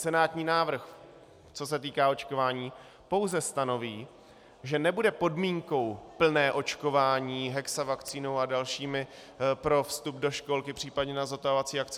Senátní návrh, co se týká očkování, pouze stanoví, že nebude podmínkou plné očkování hexavakcínou a dalšími pro vstup do školky, případně na zotavovací akce.